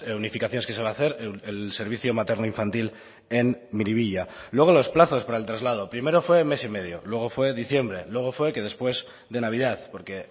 unificaciones que se va a hacer el servicio materno infantil en miribilla luego los plazos para el traslado primero fue mes y medio luego fue diciembre luego fue que después de navidad porque